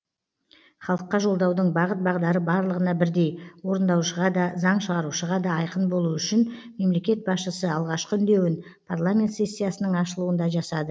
халыққа жолдаудың бағыт бағдары барлығына бірдей орындаушыға да заң шығарушыға да айқын болуы үшін мемлекет басшысы алғашқы үндеуін парламент сессиясының ашылуында жасады